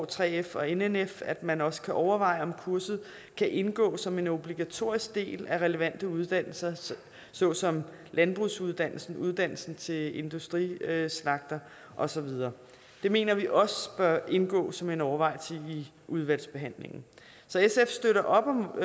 3f og nnf at man også kan overveje om kurset kan indgå som en obligatorisk del af relevante uddannelser såsom landbrugsuddannelsen uddannelsen til industrislagter og så videre det mener vi også bør indgå som en overvejelse i udvalgsbehandlingen så sf støtter op om